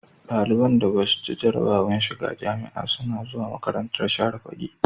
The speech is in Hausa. Daliban da Basu ci jarabawar shiga jamia suna zuwa makarantar share fage